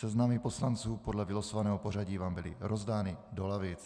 Seznamy poslanců podle vylosovaného pořadí vám byly rozdány do lavic.